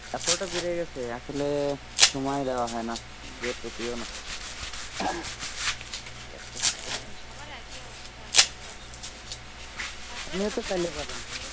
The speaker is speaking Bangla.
আছর তা বেঁধে গেছে আসলে সময়ই দেব হয়ে না যে প্রতি দিন হেন্ হেন্ সবার এক ই অবস্থা আসলে